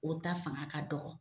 O ta fanga ka dɔgɔ